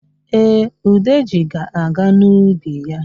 Ee, Udeji ga-aga n'ubi ya.